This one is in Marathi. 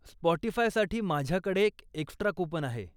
स्पॉटिफायसाठी माझ्याकडे एक एक्स्ट्रा कूपन आहे.